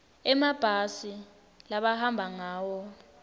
emabhasi labahamba ngawo